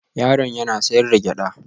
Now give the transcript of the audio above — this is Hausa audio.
Yaron yana sayar da gyada